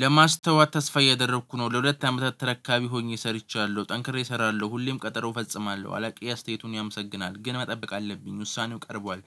ለማስተዋት ተስፋ እያደረኩ ነው ለሁለት አመታት ተረካቢ ሆኜ ሰርቻለሁ ጠንክሬ እሰራለሁ ሁሌም ቀጠሮ ፈጽማለሁ አለቃዬ አስተያየቱን ያመሰግናል ግን መጠበቅ አለብኝ ውሳኔው ቀርቧል።